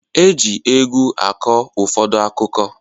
Eji egwu akọ ụfọdụ akụkọ